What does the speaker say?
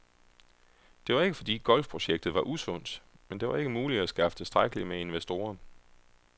Det var ikke fordi golfprojektet var usundt, men det var ikke muligt at skaffe tilstrækkeligt med investorer.